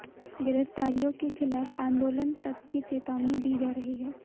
गिरफ्तारियों के खिलाफ आंदोलन तक की चेतावनी दी जा रही है